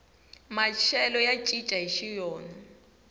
maxelo ya cincana hixi wona